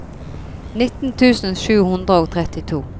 nitten tusen sju hundre og trettito